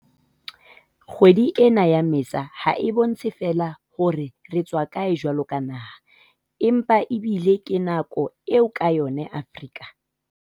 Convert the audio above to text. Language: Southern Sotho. Kgwedi ena ya Mmesa ha e bontshe feela hore re tswa kae jwaloka naha, empa ebile ke nako eo ka yona Afrika